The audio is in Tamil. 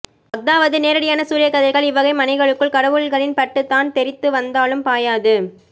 அஃதாவது நேரடியான சூரியஒளிக்கதிர்கள் இவ்வகை மனைகளுக்குள் கடவுள்களில் பட்டுத்தான் தெறித்துவந்தாலும் பாயாது